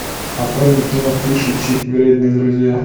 открой мне кино фиш и чип вредные друзья